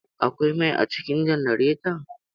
Akwai mai a cikin janaretan?